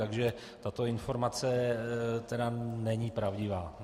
Takže tato informace tedy není pravdivá.